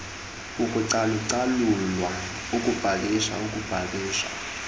ukucalucalulwa ukupakishwa ukupakishwa